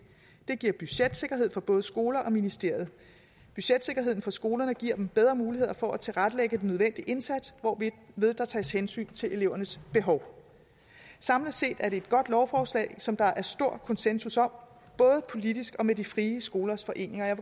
det giver budgetsikkerhed for både skoler og ministerium budgetsikkerheden for skolerne giver dem bedre muligheder for at tilrettelægge den nødvendige indsats hvorved der tages hensyn til elevernes behov samlet set er det et godt lovforslag som der er stor konsensus om både politisk og med de frie skolers foreninger jeg